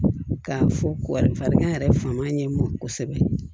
K'a fɔ wari yɛrɛ fanba ye mɔn kosɛbɛ